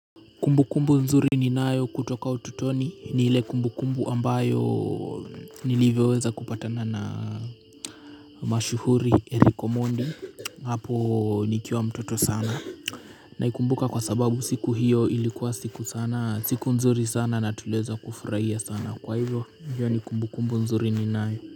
Kumbu kumbu nzuri ninayo kutoka ututoni ni ile kumbu kumbu ambayo nilivyoweza kupata na mashuhuri Erick Omondi hapo nikiwa mtoto sana. Naikumbuka kwa sababu siku hiyo ilikuwa siku nzuri sana na tuliweza kufurahia sana, kwa hivyo hiyo ni kumbu kumbu nzuri ni nayo.